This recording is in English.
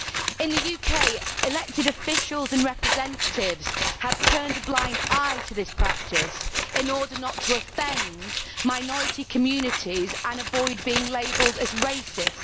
In the UK elected officials and representatives have turned a blind eye to this practice in order not to offend minority communities and avoid being labelled as racist.